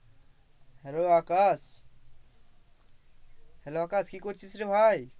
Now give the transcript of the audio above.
Hello Akash Hello Akash কি করছিস রে ভাই?